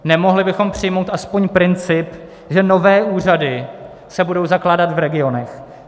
Nemohli bychom přijmout aspoň princip, že nové úřady se budou zakládat v regionech?